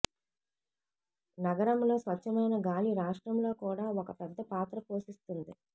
నగరంలో స్వచ్ఛమైన గాలి రాష్ట్రంలో కూడా ఒక పెద్ద పాత్ర పోషిస్తుంది